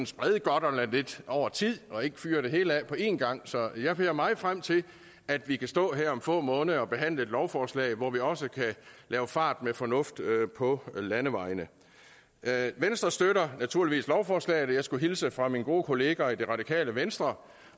sprede godterne lidt over tid og ikke fyre det hele af på en gang så jeg ser meget frem til at vi kan stå her om få måneder og behandle et lovforslag hvor vi også kan lave fart med fornuft på landevejene venstre støtter naturligvis lovforslaget og jeg skulle hilse fra mine gode kollegaer i det radikale venstre